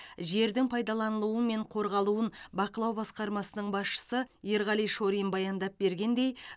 жердің пайдаланылуы мен қорғалуын бақылау басқармасының басшысы ерғали шорин баяндап бергендей